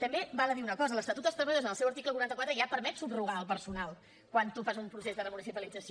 també val a dir una cosa l’estatut dels treballadors en el seu article quaranta quatre ja permet subrogar el personal quan tu fas un procés de remunicipalització